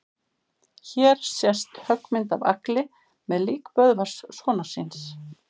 Hér sést höggmynd af Agli með lík Böðvars sonar síns.